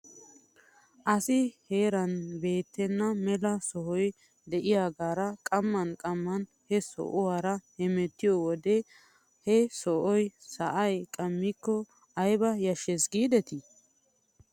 Asi heeran beettenna mela sohiya de'iyaagaara qamman qamman he sohuwaara hemettiyoo wodiyan he sohoy sa'ay qammikko ayba yashshes giidetii ?